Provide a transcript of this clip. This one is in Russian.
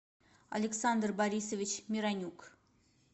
александр борисович миронюк